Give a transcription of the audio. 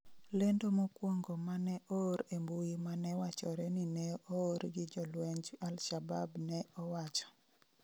lendo mokwongo mane oor e mbui mane wachore ni ne oor gi jolwenj Alshabab ne owacho: